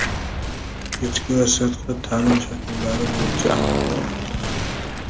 kechki va sirtqi ta’lim shakllari bo‘yicha amalga oshiriladi.